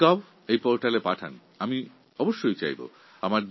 আমার মাইগভ পোর্টালে তা পাঠাতে পারেন